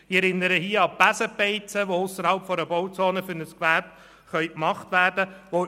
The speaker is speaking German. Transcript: Ich erinnere an die Besenbeizen, die ausserhalb der Bauzonen für ein Gewerbe eingerichtet werden können.